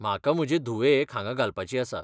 म्हाका म्हजे धुवेक हांगा घालपाची आसा.